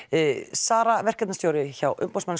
Sara verkefnisstjóri hjá umboðsmanni